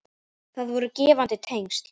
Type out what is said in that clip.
Það voru gefandi tengsl.